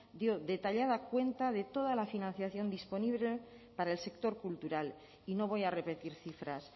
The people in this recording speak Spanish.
dio detallada cuenta de toda la financiación disponible para el sector cultural y no voy a repetir cifras